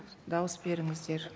дауыс беріңіздер